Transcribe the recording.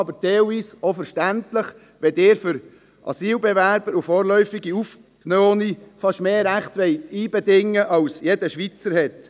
Aber teilweise ist dies auch verständlich, wenn Sie für Asylbewerber und vorläufig Aufgenommene fast mehr Rechte ausbedingen wollen als sie jeder Schweizer hat.